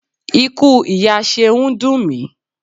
Ikú ìyá Ṣeun dùn mi.